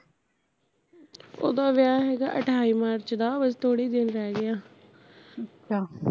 ਓਹਦਾ ਵਿਆਹ ਹੈਗਾ ਅਠਾਈ ਮਾਰਚ ਦਾ ਬਸ ਥੋੜੇ ਈ ਦਿਨ ਰਹਿ ਗਏ ਆ